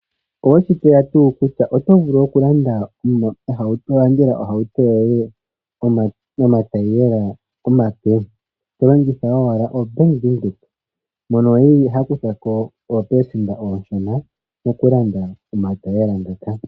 Oweshi tseya tuu kutya otovulu okulandela ohauto yoye omatayiyela omape tolongitha owala oBank Widheok mono eli hakuthako oopelesenda ooshona mokulanda omatayiyela ngoka.